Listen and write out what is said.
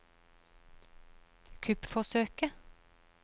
kuppforsøket